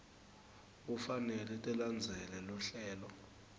kufanele tilandzele luhlelo